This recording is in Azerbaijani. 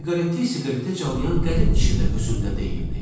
Siqareti siqaretə calayan qərib kişi də özündə deyildi.